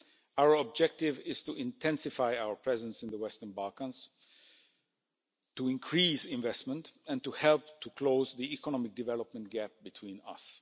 Our objective is to intensify our presence in the Western Balkans, to increase investment and to help to close the economic development gap between us.